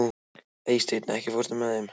Eysteinn, ekki fórstu með þeim?